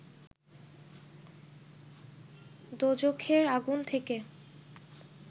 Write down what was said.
দোযখের আগুন থেকে